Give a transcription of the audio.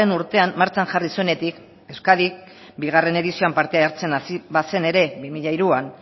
urtean martxan jarri zuenetik euskadik bigarren edizioan parte hartzen hasi bazen ere bi mila hiruan